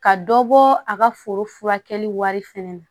Ka dɔ bɔ a ka foro furakɛli wari fɛnɛ na